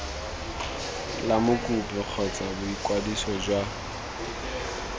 la mokopi kgotsa boikwadiso jwa